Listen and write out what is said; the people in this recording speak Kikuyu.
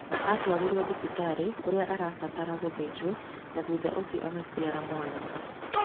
Aatwarirũo thibitarĩ kũrĩa aabataraga gũthĩnjwo na thutha ũcio agĩciara mwana.